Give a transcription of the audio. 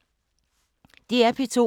DR P2